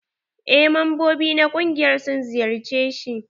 Eh membobi na ƙungiyar sun ziyarce shi.